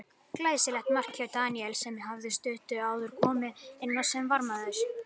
Glæsilegt mark hjá Daníel sem hafði stuttu áður komið inn á sem varamaður.